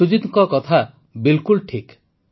ସୁଜୀତ୍ ଜୀଙ୍କ କଥା ବିଲକୁଲ ଠିକ୍